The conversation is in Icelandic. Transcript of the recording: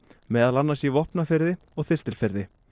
meðal annars í Vopnafirði og Þistilfirði